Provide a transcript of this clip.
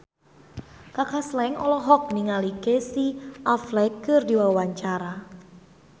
Kaka Slank olohok ningali Casey Affleck keur diwawancara